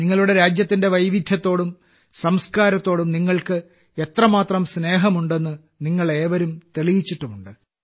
നിങ്ങളുടെ രാജ്യത്തിന്റെ വൈവിധ്യത്തോടും സംസ്കാരത്തോടും നിങ്ങൾക്ക് എത്രമാത്രം സ്നേഹമുണ്ടെന്ന് നിങ്ങളേവരും തെളിയിച്ചിട്ടുമുണ്ട്